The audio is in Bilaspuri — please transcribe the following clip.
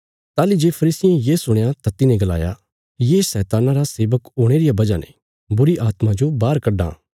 ताहली जे फरीसियें ये सुणया तां तिन्हें गलाया ये शैतान्ना रा सेवक होणे रिया वजह ने बुरीआत्मा जो बाहर कड्डां